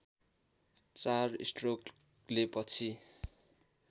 चार स्ट्रोकले पछि